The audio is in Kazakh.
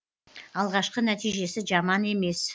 алғашқы нәтижесі жаман емес